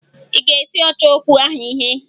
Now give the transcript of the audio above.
Ị ga-eti ọchọokwu ahụ ihe?